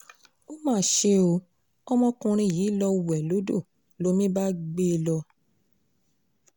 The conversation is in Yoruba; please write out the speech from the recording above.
ó mà ṣe ọ́ ọmọkùnrin yìí lọ́ọ́ wẹ̀ lódò lomi bá gbé e lọ